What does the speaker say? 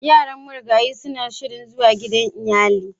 Yaran marigayin suna shirin zuwa gidan iyali.